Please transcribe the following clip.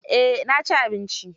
Eh, na ci abinci.